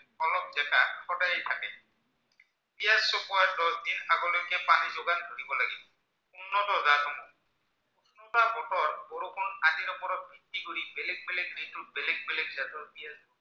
ভিত্তি কৰি বেলেগ বেলেগ ঋতুত বেলেগ বেলেগ জাতৰ পিঁয়াজ